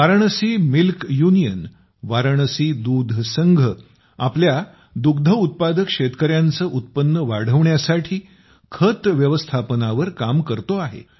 Varanasi milk union Varanasi दूध संघ आपल्या डेअरी दुग्ध उत्पादक शेतकऱ्यांचे उत्पन्न वाढविण्यासाठी खत व्यवस्थापनावर काम करते आहे